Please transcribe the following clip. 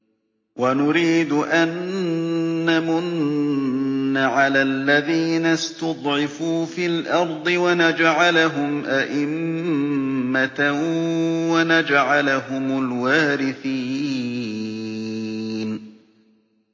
وَنُرِيدُ أَن نَّمُنَّ عَلَى الَّذِينَ اسْتُضْعِفُوا فِي الْأَرْضِ وَنَجْعَلَهُمْ أَئِمَّةً وَنَجْعَلَهُمُ الْوَارِثِينَ